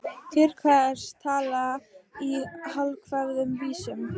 Til hvers að tala í hálfkveðnum vísum?